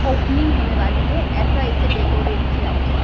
opening होने वाली है ऐसा इसे डेकोरेट किया हुआ--